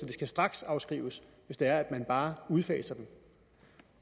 de skal straksafskrives hvis det er at man bare udfaser dem